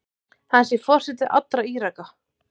Hann sé forseti allra Íraka.